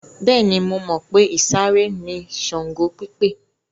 Bẹ́ẹ̀ni, mo mọ̀ pé ìsàré ni Ṣàngó pípè.